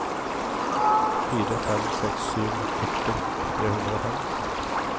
fire fem seks sju førti tre hundre og fem